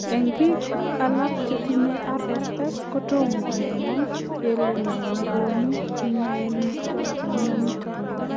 Eng piik alak chetinye RSS,kotoma kenaa kelee ne negonuu mianitok.